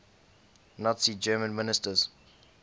nazi germany ministers